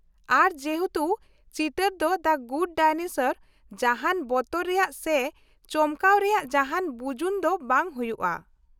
ᱟᱨ ᱡᱮᱦᱮᱛᱩ ᱪᱤᱛᱟᱹᱨ ᱫᱚ ᱫᱟ ᱜᱩᱰ ᱰᱟᱭᱱᱮᱥᱚᱨ, ᱡᱟᱦᱟᱱ ᱵᱚᱛᱚᱨ ᱨᱮᱭᱟᱜ ᱥᱮ ᱪᱚᱢᱠᱟᱣ ᱨᱮᱭᱟᱜ ᱡᱟᱦᱟᱱ ᱵᱩᱡᱩᱱ ᱫᱚ ᱵᱟᱝ ᱦᱩᱭᱩᱜᱼᱟ ᱾